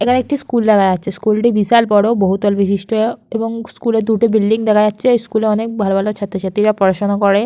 এখানে একটি স্কুল দেখা যাচ্ছে স্কুল টি বিশাল বড় বহুতল বিশিষ্ট এবং স্কুলের দুটো বিল্ডিং দেখা যাচ্ছে স্কুলে অনেক ভালো ভালো ছাত্রছাত্রী রা পড়াশুনা করে।